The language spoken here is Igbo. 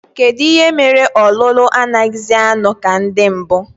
Kedụ ihe mere ọlụlụ anaghịzi anọ ka ndị mbụ?